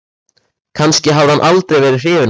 Kannski hafði hann aldrei verið hrifinn af mér.